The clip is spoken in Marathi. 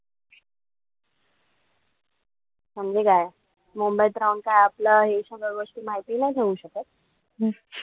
म्हणजे काय? मुंबईत राहून काय आपल्याला हे सगळं गोष्टी माहिती नाई ठेऊ शकत?